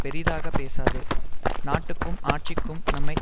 பெரிதாக பேசாதே நாட்டுக்கும் ஆட்சிக்கும் நன்மை